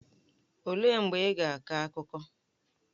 Olee mgbe ị ga-akọ akụkọ?